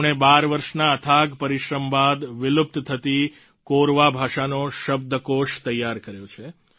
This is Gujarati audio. તેમણે 12 વર્ષના અથાગ પરિશ્રમ બાદ વિલુપ્ત થતી કોરવા ભાષાનો શબ્દકોષ તૈયાર કર્યો છે